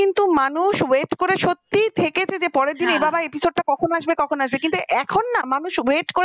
কিন্তু মানুষ wait করে সত্যিই থেকেছে যে পরের দিন এ বাবা episode টা কখন আসবে কখন আসবে কিন্তু এখন না মানুষ wait কর